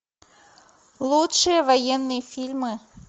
лучшие военные фильмы